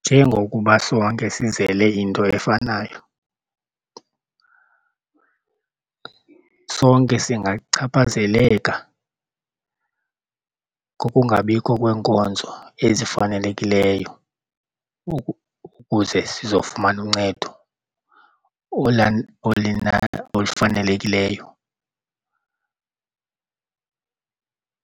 Njengokuba sonke sizele into efanayo sonke singachaphazeleka kokungabikho kweenkonzo ezifanelekileyo ukuze sizofumana uncedo olufanelekileyo.